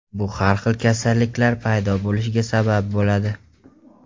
Bu har xil kasalliklar paydo bo‘lishiga sabab bo‘ladi.